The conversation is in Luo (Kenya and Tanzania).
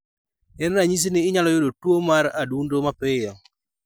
En ranyisi ni inyalo yudo tuwo mar adundo mapiyo.